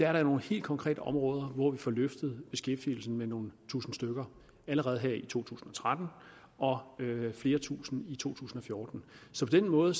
er det nogle helt konkrete områder hvor vi får løftet beskæftigelsen med nogle tusinde stykker allerede her i to tusind og tretten og flere tusinde i to tusind og fjorten så på den måde